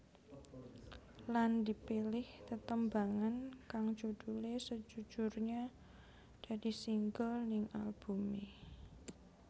Lan dipilih tetembangan kang judulé Sejujurnya dadi single ning albumé